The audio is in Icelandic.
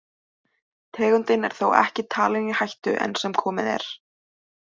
Tegundin er þó ekki talin í hættu enn sem komið er.